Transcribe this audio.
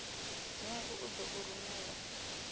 dzingu u ḓo u rumela